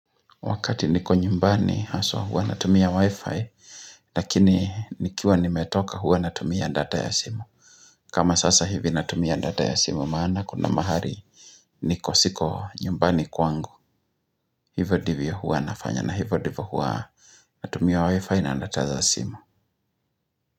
Wakati niko nyumbani haswa huwa natumia wifi, lakini nikiwa nimetoka hua natumia data ya simu. Kama sasa hivi natumia data ya simu maana kuna mahali niko siko nyumbani kwangu. Hivo ndivyo huwa nafanya na hivo ndivo huwa natumia wifi na data za simu.